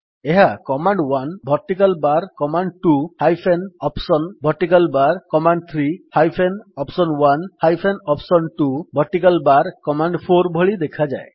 ଏହା command one vertical bar command two hyphen option vertical bar command three hyphen option one hyphen option two vertical bar command four ଭଳି ଦେଖାଯାଏ